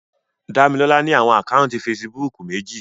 Damilola ni awọn ákáuntì Fèsìbúukù meji